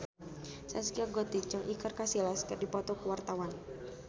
Zaskia Gotik jeung Iker Casillas keur dipoto ku wartawan